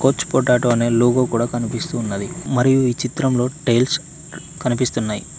కొచ్ potato అనె logo కూడా కనిపిస్తూ ఉన్నది మరియు ఈ చిత్రంలో టైల్స్ కనిపిస్తున్నాయి.